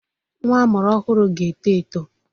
Nwa amụrụ ọhụrụ ga-eto eto.